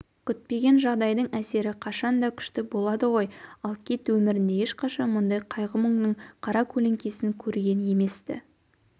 күтпеген жағдайдың әсері қашан да күшті болады ғой ал кит өмірінде ешқашан мұндай қайғы-мұңның қара көлеңкесін көрген емес-ті